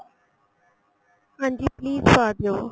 ਹਾਂਜੀ please ਪਾ ਦਿਉ